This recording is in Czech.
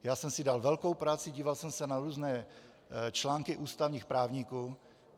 Já jsem si dal velkou práci, díval jsem se na různé články ústavních právníků.